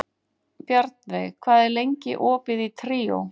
Bjarnveig, hvað er lengi opið í Tríó?